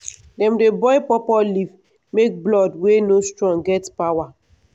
dem dey boil pawpaw leaf make blood wey no strong get power